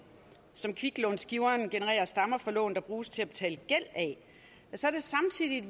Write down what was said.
som kviklånsgiveren genererer stammer fra lån der bruges til at betale gæld af